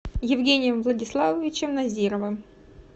евгением владиславовичем назировым